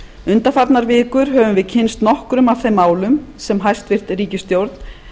undanfarnar vikur höfum við kynnst nokkrum af þeim málum sem hæstvirt ríkisstjórn